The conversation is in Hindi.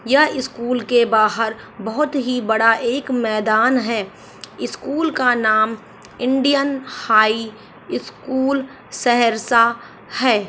यह स्कूल के बाहर बहुत ही बड़ा एक मैदान है स्कूल का नाम इंडियन हाई स्कूल सहरसा है।